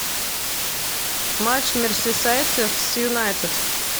матч мерсисайдцев с юнайтед